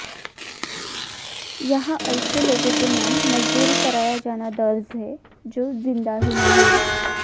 यहां ऐसे लोगों के नाम मजदूरी कराया जाना दर्ज है जो जिंदा ही नहीं हैं